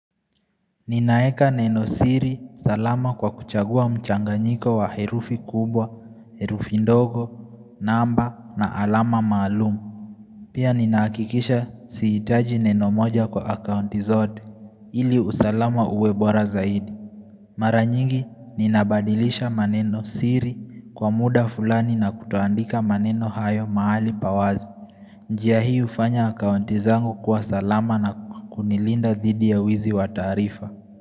Ninaeka nenosiri salama kwa kuchagua mchanganjiko wa herufi kubwa, herufi ndogo, namba na alama maalumu. Pia ninaakikisha siitaji neno moja kwa akaunti zote ili usalama uwe bora zaidi. Mara nyingi ninabadilisha manenosiri kwa muda fulani na kutoandika maneno hayo maali pa wazi. Njia hii ufanya akaunti zangu kwa salama na kunilinda dhidi ya wizi wataarifa.